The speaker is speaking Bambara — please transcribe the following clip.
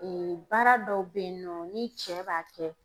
baara dɔw bɛ ye nɔ ni cɛ b'a kɛ